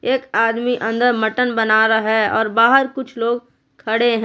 एक आदमी अंदर मटन बना रहा है और बाहर कुछ लोग खड़े ह--